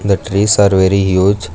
The trees are very huge.